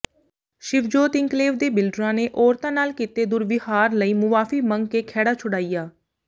Shivjot enclave ਦੇ ਬਿਲਡਰਾਂ ਨੇ ਔਰਤਾਂ ਨਾਲ ਕੀਤੇ ਦੁਰਵਿਹਾਰ ਲਈ ਮੁਆਫ਼ੀ ਮੰਗ ਕੇ ਖਹਿੜਾ ਛੁਡਾਇਆ